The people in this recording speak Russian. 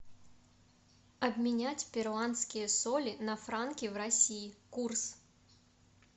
обменять перуанские соли на франки в россии курс